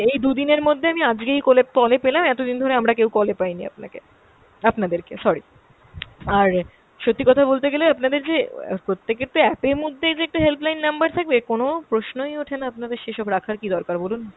এই দুদিনের মধ্যে আমি আজকেই কলেপ~ call এ পেলাম, এতদিন ধরে আমরা কেও call এ পাইনি আপনাকে, আপনাদেরকে sorry। আর সত্যি কথা বলতে গেলে আপনাদের যে অ্যাঁ প্রত্যেকের তো app এর মধ্যে যে একটা helpline number থাকবে, কোন প্রশ্নই ওঠেনা আপনাদের সেসব রাখার কী দরকার বলুন।